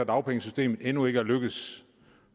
dagpengesystemet endnu ikke er lykkedes